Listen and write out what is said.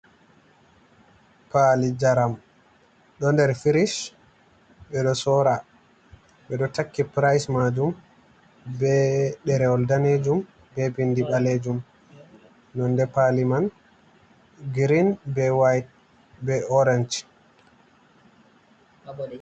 Pali njaram ɗo nder firish. Ɓeɗo sora, ɓeɗo takki pryce majum be ɗerewol danejum be bindi ɓalejum. Nonde pali man girin be white be orange.